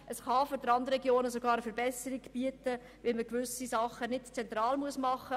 Es kann für die Randregionen Verbesserungen geben, weil gewisse Dinge nicht mehr zentral erledigt werden müssen.